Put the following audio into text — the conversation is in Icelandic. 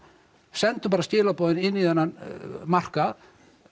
senda bara skilaboð í þennan markað